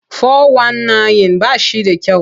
Fo-wan-nayin ba shi da kyau.